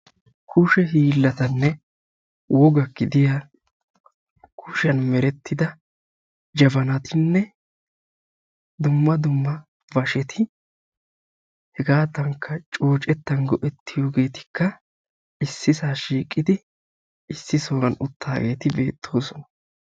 kushe hillanne woga gidiyaa dumma dumma miishati hegetikka jabanati, basheti ne masqaleteti issi so huwaa shiiqidi uttidagetti beettosona.